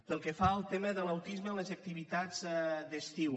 pel que fa al tema de l’autisme en les activitats d’estiu